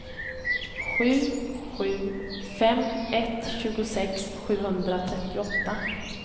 sju sju fem ett tjugosex sjuhundratrettioåtta